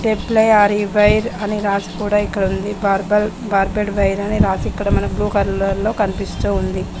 Are E wire అని రాసి ఉంది బార్బెడ్ వైర్ అని రాసి బ్లూ కలర్ లో కనుపిస్తుంది.